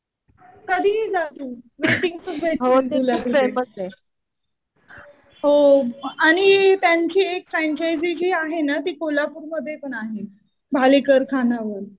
कधीही जा तू. वेटिंग्सच भेटतील. हो आणि त्यांची एक फ्रँचायझी जी आहे ना ती कोल्हापूर मध्ये पण आहे. भालेकर खानावळ.